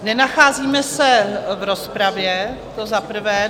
Nenacházíme se v rozpravě, to za prvé.